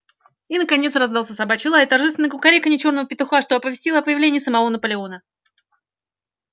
и наконец раздался собачий лай и торжественное кукареканье чёрного петуха что оповестило о появлении самого наполеона